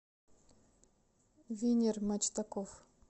винер мачтаков